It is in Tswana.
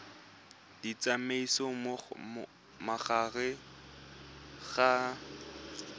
di tsamaisa mo gare ga